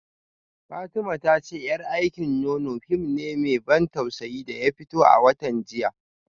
Fatima ta ce yar aikin nono fim ne mai ban tausayi da ya fito a watan jiya